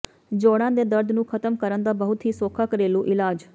ਜੋੜਾਂ ਦੇ ਦਰਦ ਨੂੰ ਖਤਮ ਕਰਨ ਦਾ ਬਹੁਤ ਹੀ ਸੌਖਾ ਘਰੇਲੂ ਇਲਾਜ਼